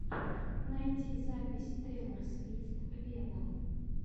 найти запись тейлор свифт вево